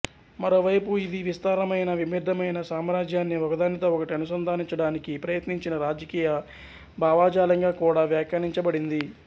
మరోవైపు ఇది విస్తారమైన విభిన్నమైన సామ్రాజ్యాన్ని ఒకదానితో ఒకటి అనుసంధానించడానికి ప్రయత్నించిన రాజకీయ భావజాలంగా కూడా వ్యాఖ్యానించబడింది